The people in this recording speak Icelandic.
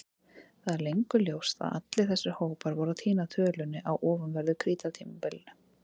Það er löngu ljóst að allir þessir hópar voru að týna tölunni á ofanverðu Krítartímabilinu.